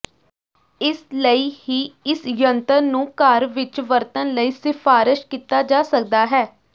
ਇਸ ਲਈ ਹੀ ਇਸ ਜੰਤਰ ਨੂੰ ਘਰ ਵਿੱਚ ਵਰਤਣ ਲਈ ਸਿਫਾਰਸ਼ ਕੀਤਾ ਜਾ ਸਕਦਾ ਹੈ